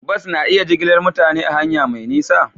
Bas na iya jigilar mutane ta hanya mai nisa?